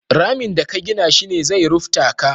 Ramin da ka gina shi ne zai rufta ka.